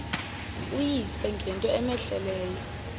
uyise ngento cmehleleyo